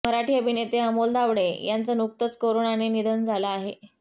मराठी अभिनेते अमोल धावडे यांचं नुकतंच करोनाने निधन झालं आहे